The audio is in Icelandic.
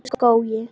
Brekkuskógi